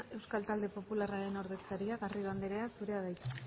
euskal talde popularraren ordezkaria garrido andrea zurea da hitza